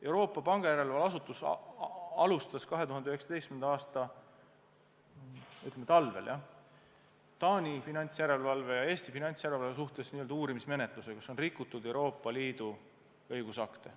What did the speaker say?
Euroopa pangajärelevalve asutus alustas 2019. aasta talvel Taani finantsjärelevalve ja Eesti finantsjärelevalve suhtes uurimismenetluse, kas on rikutud Euroopa Liidu õigusakte.